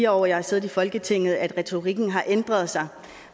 år jeg har siddet i folketinget at retorikken har ændret sig